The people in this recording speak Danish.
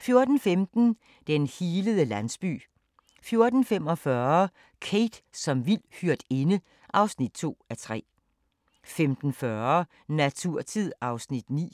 14:15: Den healende landsby 14:45: Kate som vild hyrdinde (2:3) 15:40: Naturtid (Afs. 9)